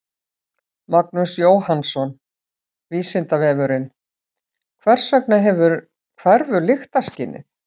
Magnús Jóhannsson: Vísindavefurinn: Hvers vegna hverfur lyktarskynið?